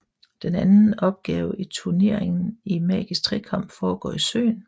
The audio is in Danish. Den anden opgave i Turneringen i Magisk Trekamp foregår i søen